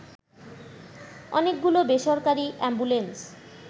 অনেকগুলো বেসরকারি অ্যাম্বুলেন্স